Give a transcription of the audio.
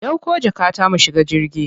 Dauko jakata mu shiga jirgi.